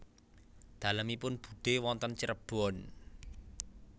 Dalemipun budhe wonten Cirebon